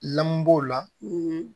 Lamu b'o la